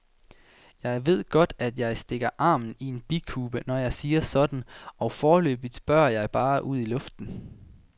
Jeg ved godt, at jeg stikker armen i en bikube, når jeg siger sådan, og foreløbig spørger jeg også bare ud i luften.